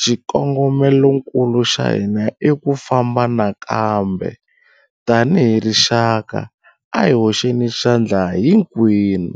Xikongomelokulu xa hina i ku famba nakambe. Tanihi rixaka, a hi hoxeni xandla hinkwerhu.